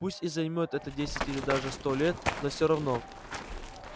пусть и займёт это десять или даже сто лет но все равно